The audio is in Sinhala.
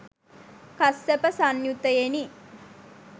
කස්සප සංයුත්තයෙනි.